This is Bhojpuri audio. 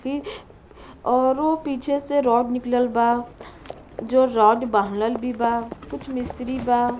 औरु पीछे से रॉड निकलल बा जो रॉड बांधल भी बा। कुछ मिस्री बा।